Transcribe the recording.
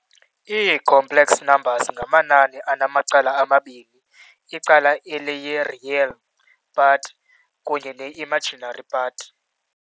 Ii-Complex numbers ngamanani anamacala amabini, icala eliyi- "real" part kunye ne-"imaginary" part.